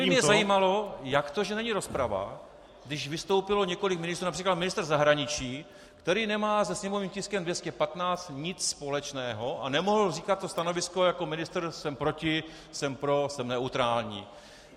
To by mě zajímalo, jak to, že není rozprava, když vystoupilo několik ministrů, například ministr zahraničí, který nemá se sněmovním tiskem 215 nic společného, a nemohl říkat to stanovisko jako ministr, jsem proti, jsem pro, jsem neutrální.